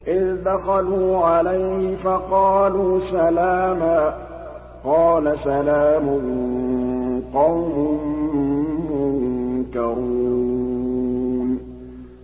إِذْ دَخَلُوا عَلَيْهِ فَقَالُوا سَلَامًا ۖ قَالَ سَلَامٌ قَوْمٌ مُّنكَرُونَ